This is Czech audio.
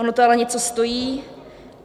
Ono to ale něco stojí.